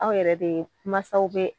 Aw yɛrɛ de masaw bɛ